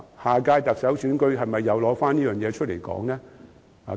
下屆特首選舉，是否又拿此事來討論？